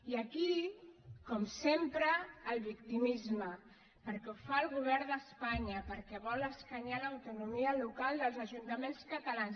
i aquí com sempre el victimisme perquè ho fa el govern d’espanya perquè vol escanyar l’autonomia local dels ajuntaments catalans